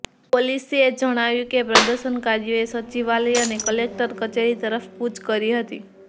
પોલીસે જણાવ્યું કે પ્રદર્શનકારીઓએ સચિવાલય અને કલેક્ટર કચેરી તરફ કૂચ કરી હતી